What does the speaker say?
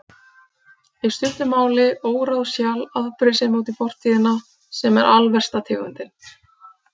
Í stuttu máli, óráðshjal, afbrýðisemi út í fortíðina, sem er alversta tegundin.